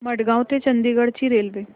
मडगाव ते चंडीगढ ची रेल्वे